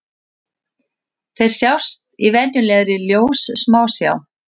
Þeir sjást í venjulegri ljóssmásjá.